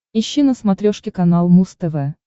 ищи на смотрешке канал муз тв